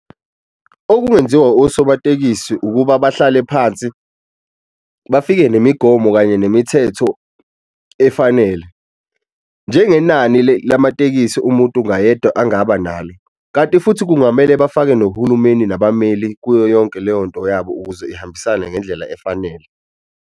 Okungenziwa osomatekisi ukuba bahlale phansi, bafike nemigomo kanye nemithetho efanele. Njengeneni lamatekisi umuntu ngayedwa angaba nalo, kanti futhi kungamele bafake nohulumeni nabameli kuyo yonke leyo nto yabo ukuze ihambisane ngendlela efanele.